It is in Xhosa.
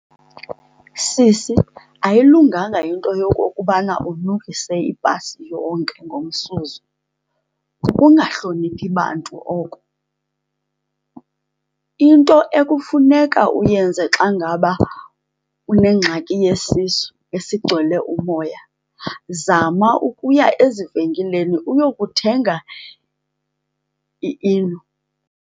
Sisi, ayilunganga into yokokubana unukise ibhasi yonke ngomsuzo. Kukungahloniphi bantu oko. Into ekufuneka uyenze xa ngaba unengxaki yesisu esigcwele umoya, zama ukuya ezivenkileni uyokuthenga iEno.